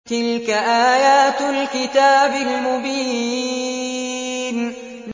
تِلْكَ آيَاتُ الْكِتَابِ الْمُبِينِ